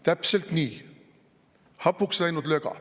Täpselt nii, hapuks läinud löga.